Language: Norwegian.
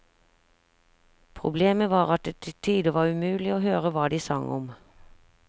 Problemet var at det til tider var umulig å høre hva de sang om.